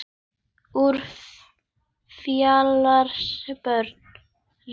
Úr fjarska barst rödd.